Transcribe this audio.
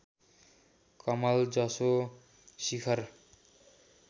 कमल जसो शिखर